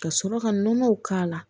Ka sɔrɔ ka nɔnɔw k'a la